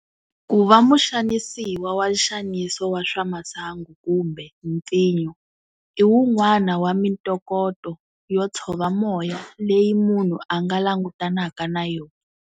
Ku va muxanisiwa wa nxaniso wa swamasangu kumbe mpfinyo i wun'wana wa mintokoto yo tshova moya leyi munhu a nga langutanaka na yona.